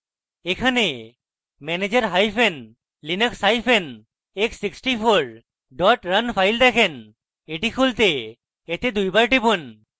এখানে manager hyphen linux hyphen x64 run file দেখেন এটি খুলতে এতে দুইবার টিপুন